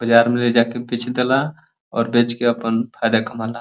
बजार मे ले जाके बेच देला और बेच के आपन फायदा कमाला।